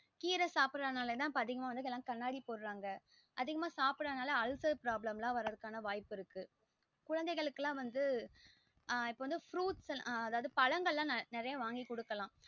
கீற சாப்டறது நாலா தா இப்போ அதிகமா வந்து கண்ணாடி போடறாங்க அதிகமா சாப்டத நாலா வந்து அல்சர் problem வரதுக்கான அதிக வாய்ப்பு இருக்கு குழந்தைகளுக்கு லாம் வந்து ஆஹ் fruits வந்து அதாவது வந்து பழங்கள் நிறைய வாங்கி குடுக்கலாம்